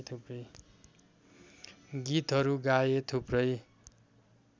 गीतहरू गाए थुप्रै